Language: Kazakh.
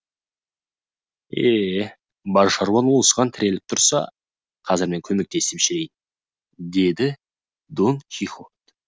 е бар шаруаң осыған тіреліп тұрса қазір мен көмектесіп жіберейін деді дон кихот